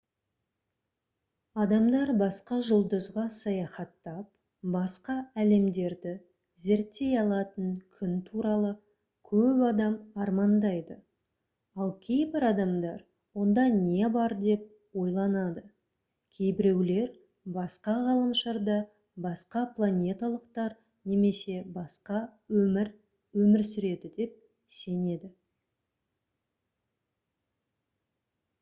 адамдар басқа жұлдызға саяхаттап басқа әлемдерді зерттей алатын күн туралы көп адам армандайды ал кейбір адамдар онда не бар деп ойланады кейбіреулер басқа ғаламшарда басқа планеталықтар немесе басқа өмір өмір сүреді деп сенеді